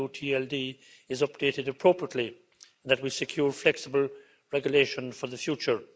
.eu TLD is updated appropriately and that we secure flexible regulation for the future.